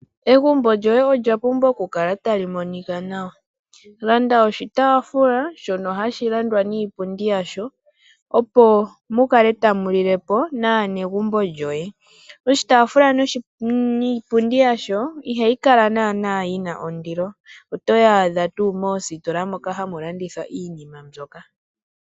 Egumbo lyoye olya pumbwa oku kala tali monika nawa. Landa oshitaafula shoka hashi landwa niipundi yasho, opo pu kale tapu lilwa kaanegumbo. Oshitaafula niipundi yasho ihayi kala yi na ondilo, ohayi adhika moositola moka hamu landithwa iinima mbyoka.